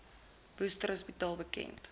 worcester hospitaal bekend